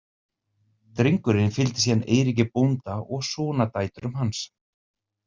Drengurinn fylgdi síðan Eiríki bónda og sonardætrum hans.